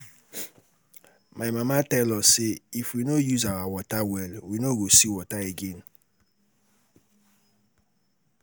My mama tell us say if we no use our water well we no go see water again